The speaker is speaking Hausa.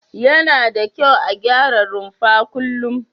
Yana da kyau a gyara rumfa kullum.